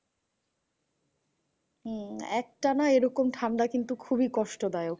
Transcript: হম একটানা এরকম ঠান্ডা কিন্তু খুবই কষ্ট দায়ক।